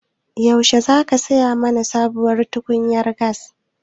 Yaushe za ka saya mana sabuwar tukunyar gas?